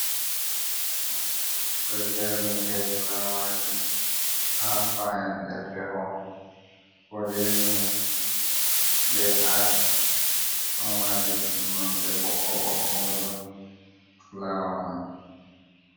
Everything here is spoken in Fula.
Shago ɗo jerni be fulawaji ha fan nde feho boɗejum be ash, ɗo mari nonde ɓoko ɓokko on fulawa man.